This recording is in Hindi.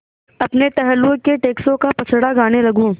अपने टहलुओं के टैक्सों का पचड़ा गाने लगूँ